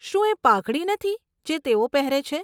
શું એ પાઘડી નથી, જે તેઓ પહેરે છે?